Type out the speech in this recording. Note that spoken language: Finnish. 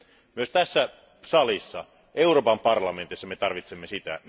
Myös tässä salissa, Euroopan parlamentissa, me tarvitsemme sitä.